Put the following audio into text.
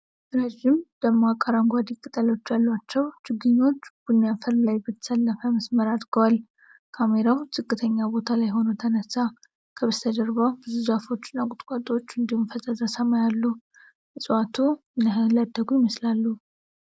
ረዥም፣ ደማቅ አረንጓዴ ቅጠሎች ያሏቸው ችግኞች ቡኒ አፈር ላይ በተሰለፈ መስመር አድገዋል። ካሜራው ዝቅተኛ ቦታ ላይ ሆኖ ተነሳ። ከበስተጀርባ ብዙ ዛፎች እና ቁጥቋጦዎች እንዲሁም ፈዛዛ ሰማይ አሉ። እፅዋቱ ምን ያህል ያደጉ ይመስላሉ?